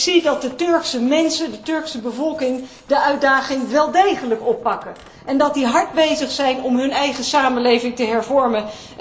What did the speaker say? Ik zie dat de Turkse mensen, de Turkse bevolking, de uitdaging wel degelijk oppakken en dat zij hard bezig zijn om hun eigen samenleving te hervormen.